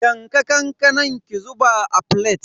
Yanka kankanan ki zuba a filet.